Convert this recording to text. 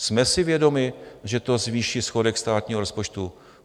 Jsme si vědomi, že to zvýší schodek státního rozpočtu?